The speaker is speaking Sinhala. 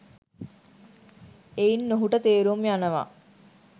එයින් ඔහුට තේරුම් යනවා